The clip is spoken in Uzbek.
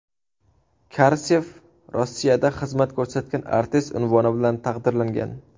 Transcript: Karsev Rossiyada xizmat ko‘rsatgan artist unvoni bilan taqdirlangan.